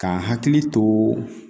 Kan hakili to